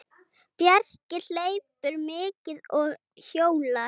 Bjarki hleypur mikið og hjólar.